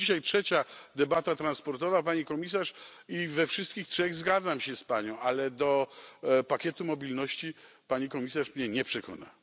To już dzisiaj trzecia debata transportowa, Pani Komisarz, i we wszystkich trzech zgadzam się z Panią, ale do pakietu mobilności Pani Komisarz mnie nie przekona.